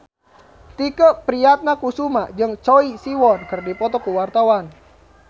Tike Priatnakusuma jeung Choi Siwon keur dipoto ku wartawan